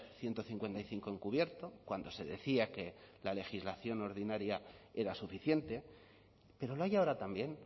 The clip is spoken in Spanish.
ciento cincuenta y cinco en cubierto cuando se decía que la legislación ordinaria era suficiente pero lo hay ahora también